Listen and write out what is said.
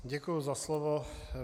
Děkuji za slovo.